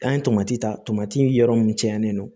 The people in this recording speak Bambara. An ye tomati tamati yɔrɔ min canlen don